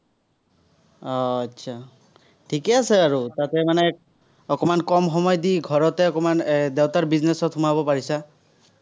আহ আচ্ছা ঠিকেই আছে আৰু, তাতে মানে অকণমান কম সময় দি ঘৰতে অকণমান এৰ দেউতাৰ business ত সোমাব পাৰিছা।